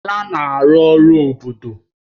Bala na-arụ ọrụ obodo